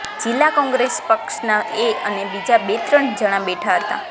જિલ્લા કોંગ્રેસ પક્ષના એ અને બીજા બે ત્રણ જણા બેઠા હતા